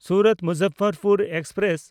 ᱥᱩᱨᱟᱛ–ᱢᱩᱡᱟᱯᱷᱚᱨᱯᱩᱨ express